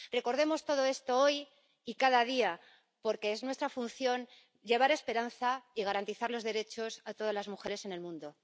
Recordemos todo esto hoy y cada día, porque es nuestra función llevar esperanza y garantizar los derechos a todas las mujeres en el mundo.